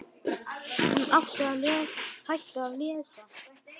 Hún hætti að lesa.